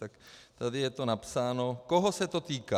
Tak tady je to napsáno, koho se to týká.